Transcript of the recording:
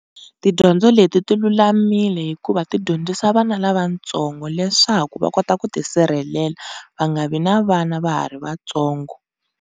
Tidyondzo leti tilulamile hikuva ti dyondzisa vana lavatsongo leswaku va kota ku tisirhelela, va nga vi na vana va ha ri vatsongo.